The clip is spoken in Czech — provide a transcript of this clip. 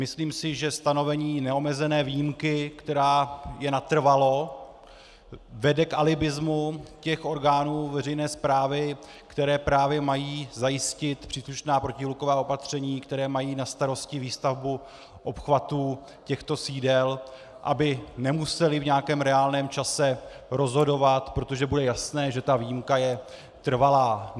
Myslím si, že stanovení neomezené výjimky, která je natrvalo, vede k alibismu těch orgánů veřejné správy, které právě mají zajistit příslušná protihluková opatření, které mají na starosti výstavbu obchvatů těchto sídel, aby nemusely v nějakém reálném čase rozhodovat, protože bude jasné, že ta výjimka je trvalá.